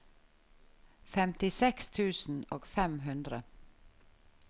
femtiseks tusen og fem hundre